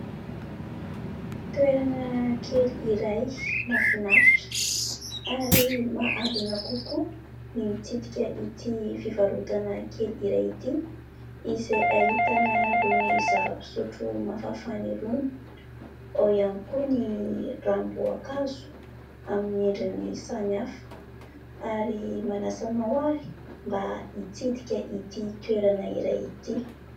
Toerana kely iray mahafinaritra ary mahaliana kokoa ny mitsidika ity fivarotana kely iray ity izay ahitana irony zava-pisotro mafanafana irony ; ao ihany koa ny ranom-boankazo amin'ny endriny samy hafa ary manasa anao ary mba hitsidika ity toerana iray ity.